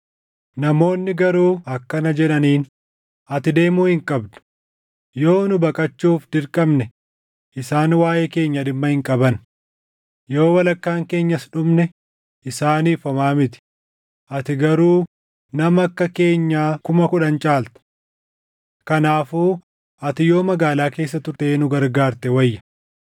Namoonni garuu akkana jedhaniin; “Ati deemuu hin qabdu; yoo nu baqachuuf dirqamne isaan waaʼee keenya dhimma hin qaban; yoo walakkaan keenyas dhumne isaaniif homaa miti; ati garuu nama akka keenyaa kuma kudhan caalta. Kanaafuu ati yoo magaalaa keessa turtee nu gargaarte wayya.”